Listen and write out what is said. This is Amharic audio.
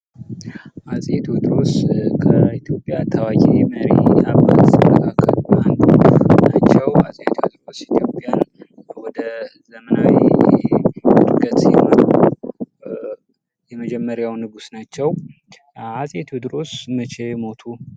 አፄ ቴዎድሮስ ከኢትዮጵያ ታዋቂ መሪ አባት መካከል አንዱ ናቸው። አፄ ቴዎድሮስ ኢትዮጵያን ወደዘመናዊ እድገት የመሩ የመጀመርያው ንጉስ ናቸው። አፄ ቴዎድሮስ መቼ ሞቱ?